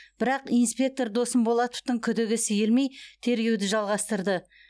бірақ инспектор досым болатовтың күдігі сейілмей тергеуді жалғастырды